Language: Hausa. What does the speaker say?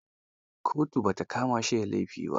Kotu ba ta kama shi da laifi ba.